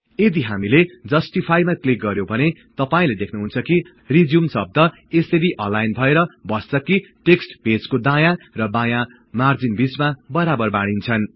यदि हामीले Justifyमा क्लिक गर्यौं भने तपाई देख्नुहुन्छ कि रिज्युम शब्द यसरी अलाईन भएर बस्छ कि टेक्सट् पेजको दायाँ र बायाँ मार्जिन बीचमा बराबर बाडीन्छन्